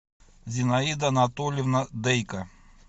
зинаида анатольевна дейко